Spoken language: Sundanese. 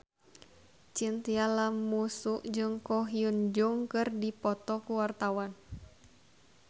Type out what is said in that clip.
Chintya Lamusu jeung Ko Hyun Jung keur dipoto ku wartawan